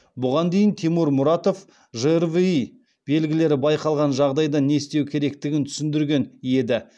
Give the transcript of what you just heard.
бұған дейін тимур мұратов жрви белгілері байқалған жағдайда не істеу керектігін түсіндірген еді